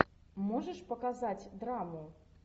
можешь показать драму